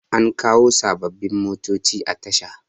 an kawo sababbin motoci a Tasha